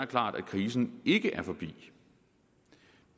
klart at krisen ikke er forbi